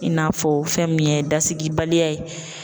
I n'a fɔ fɛn min ye dasigi baliya ye